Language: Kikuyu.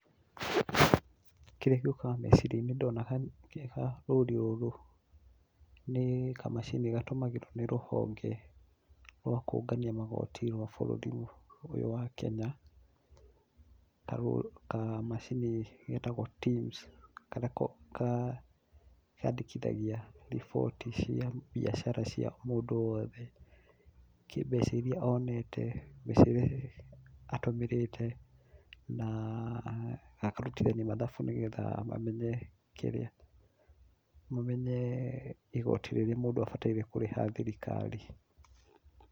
Kĩrĩa gĩũkaga meciria-inĩ ndona rũri rũrũ ni kamachini gatũmagirũo nĩ rũhonge rwa kũũngania magoti rwa bũrũri ũyũ wa Kenya. Kamachini getagwo Tims karĩa kandĩkithagia riboti cia biacara cia mũndũ owothe kĩ mbeca irĩa onete, mbeca irĩa atũmĩrĩte na agakarutithania mathabu, nĩgetha mamenye kĩrĩa, igoti rĩrĩa mũndũ abatiĩ kũrĩha thirikari.